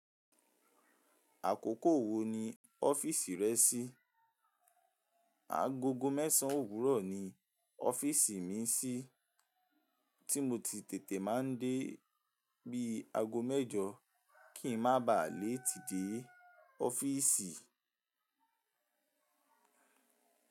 Àkókò wo ni ọ́fíìsì rẹ shi? Agogo mẹ́sàn-án òwúrọ̀ ni ọ́fíìsì mi n sí, tí mo ti tètè máa ń dé bí ago mẹ́jọ kí ń má bà pe dé ọ́fíìsì.